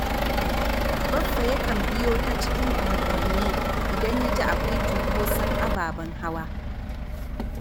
Baffa yakan biyo ta cikin unguwanni idan ya ji akwai cunkoson ababen hawa